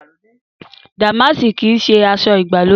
Dàmáàsì kìí ṣe aṣọ ìgbàlódé